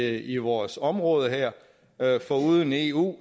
i vores område her foruden eu